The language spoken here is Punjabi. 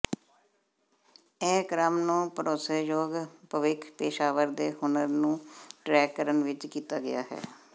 ਇਹ ਕ੍ਰਮ ਨੂੰ ਭਰੋਸੇਯੋਗ ਭਵਿੱਖ ਪੇਸ਼ਾਵਰ ਦੇ ਹੁਨਰ ਨੂੰ ਟਰੈਕ ਕਰਨ ਵਿਚ ਕੀਤਾ ਗਿਆ ਹੈ